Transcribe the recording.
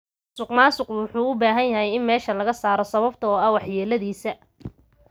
Musuqmaasuqa wuxuu u baahan yahay in meesha laga saaro, sababtoo ah waxyeeladiisa.